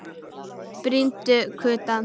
Brýndu kutann.